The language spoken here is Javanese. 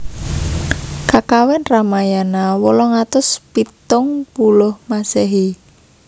Kakawin Ramayana ~ wolung atus pitung puluh Masehi